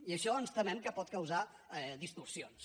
i això ens temem que pot causar distorsions